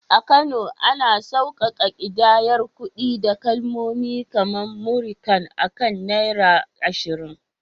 A Kano, ana sauƙaƙa ƙidayar kuɗi da kalmomi kamar “Múrí kan” akan Naira 20.